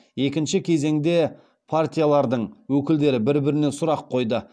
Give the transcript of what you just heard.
екінші кезеңде партиялардың өкілдері бір біріне сұрақ қойды